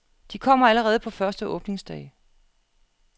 De kommer allerede på første åbningsdag.